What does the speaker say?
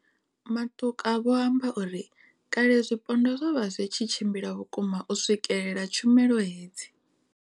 Matuka vho amba uri kale zwipondwa zwo vha zwi tshi tshimbila vhukuma u swikelela tshumelo hedzi.